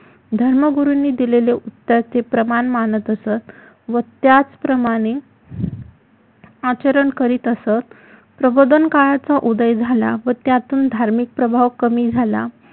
धर्मगुरुंनी दिलेले उत्तर ते प्रमाण मानत असत व त्याच प्रमाणे आचरण करित असत प्रबोधन काळाचा उदय झाला व त्यातुन धार्मिक प्रभाव कमी झाला